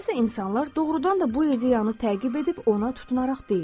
Bəzi insanlar doğrudan da bu ideyanı təqib edib ona tutunaraq deyir.